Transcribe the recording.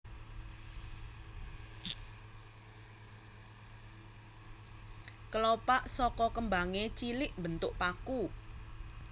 Kelopak saka kembangé cilik mbentuk paku